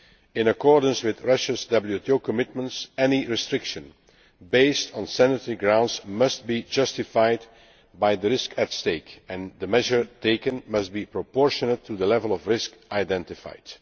In accordance with Russia's WTO commitments any restriction based on sanitary grounds must be justified by the risk at stake and the measure taken must be proportionate to the level of risk identified.